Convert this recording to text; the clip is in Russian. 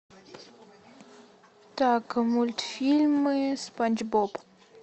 так мультфильмы спанч боб